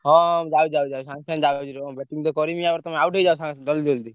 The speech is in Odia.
ହଁ ଯାଉଛି ଯାଉଛି ସାଙ୍ଗେ ସାଙ୍ଗେ ଯାଉଛି ଯାଉଛି ରୁହ ।